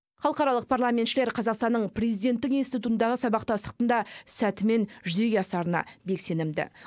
халықаралық парламентшілер қазақстанның президенттік институтындағы сабақтастықтың да сәтімен жүзеге асарына бек сенімді